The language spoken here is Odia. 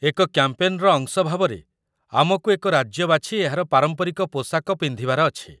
ଏକ କ‍୍ୟାମ୍ପେନ୍‌ର ଅଂଶ ଭାବରେ, ଆମକୁ ଏକ ରାଜ୍ୟ ବାଛି ଏହାର ପାରମ୍ପରିକ ପୋଷାକ ପିନ୍ଧିବାର ଅଛି